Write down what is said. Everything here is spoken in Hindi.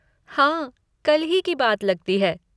हाँ, कल ही की बात लगती है।